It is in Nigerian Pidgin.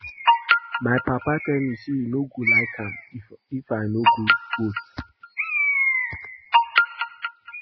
My papa tell me say he no go like am if I no go vote